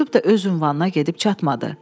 Məktub da öz ünvanına gedib çatmadı.